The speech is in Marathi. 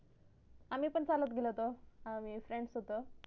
आम्ही पण चालत गेलो होतो friends सोबत